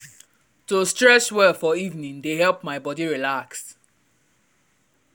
to stretch well for evening dey help my body relax.